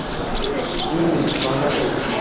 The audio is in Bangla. উম খাওয়া দাওয়া করব